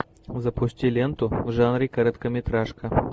запусти ленту в жанре короткометражка